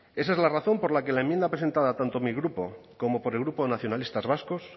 esa es la razón por la que la enmienda presentada tanto mi grupo como por el grupo nacionalistas vascos